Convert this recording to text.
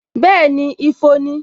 Bẹẹni, ifo ni